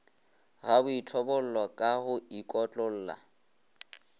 ga boithobollo ka go ikotlolla